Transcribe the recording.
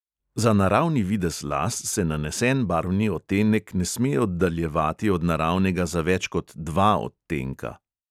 Za naravni videz las se nanesen barvni odtenek ne sme oddaljevati od naravnega za več kot dva odtenka.